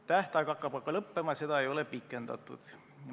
Tähtaeg hakkab aga lõppema ja seda võimalust ei ole pikendatud.